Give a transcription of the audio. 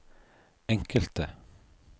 enkelte